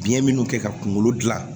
Biyɛn minnu kɛ ka kunkolo dilan